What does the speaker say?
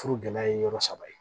Furu gɛlɛya ye yɔrɔ saba ye